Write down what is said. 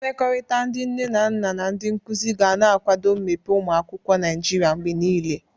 Mmekọrịta ndị nne na nna na ndị nkuzi ga na-akwado mmepe ụmụ akwụkwọ Naịjiria mgbe niile.